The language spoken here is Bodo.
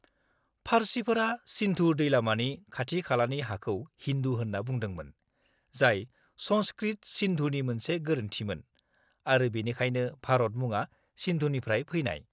-फारसिफोरा सिन्धु दैलामानि खाथि-खालानि हाखौ हिन्दु होनना बुंदोंमोन, जाय संस्कृत सिन्धुनि मोनसे गोरोन्थिमोन आरो बेनिखायनो भारत मुङा सिन्धुनिफ्राय फैनाय।